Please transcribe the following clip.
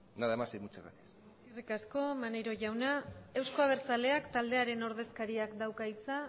nada más y muchas gracias eskerrik asko maneiro jauna euzko abertzaleak taldearen ordezkariak dauka hitza